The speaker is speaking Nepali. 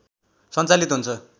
सञ्चालित हुन्छ